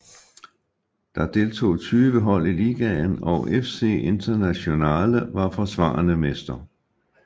Der deltog 20 hold i ligaen og FC Internazionale var forsvarende mester